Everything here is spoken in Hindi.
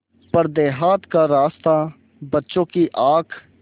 पर देहात का रास्ता बच्चों की आँख